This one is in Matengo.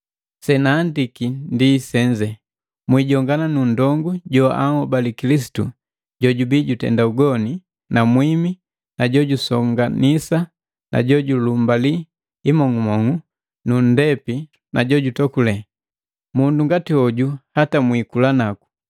Senahandiki ndi senze: Mwijongana nundongu joanhobale Kilisitu jojubii jutenda ugoni na mwimi na jojusonganisa na jojulumbali imong'umong'u na nndepi na jojutokule. Mundu ngati hoju hata mwikula naku.